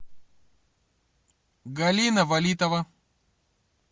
галина валитова